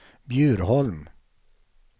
Bjurholm